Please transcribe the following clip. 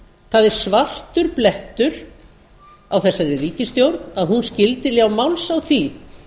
það er svartur blettur á þessari ríkisstjórn að hún skyldi ljá máls á því